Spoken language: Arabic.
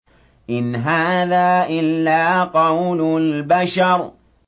إِنْ هَٰذَا إِلَّا قَوْلُ الْبَشَرِ